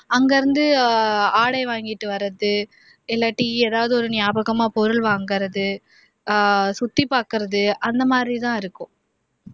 அங்கேயிருந்து ஆடை வாங்கிட்டு வர்ரது இல்லாட்டி எதாவது ஒரு நியாபகமா பொருள் வாங்கிறது, சுத்திப்பாக்கிறது அந்த மாதிரிதான் இருக்கும்